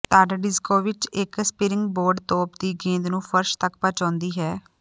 ਤਦ ਡਿਜਕੋਵਿਚ ਇੱਕ ਸਪਰਿੰਗ ਬੋਰਡ ਤੋਪ ਦੀ ਗੇਂਦ ਨੂੰ ਫਰਸ਼ ਤੱਕ ਪਹੁੰਚਾਉਂਦੀ ਹੈ